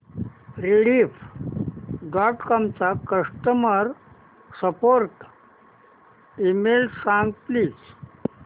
Rediff dot com चा customer support email सांग please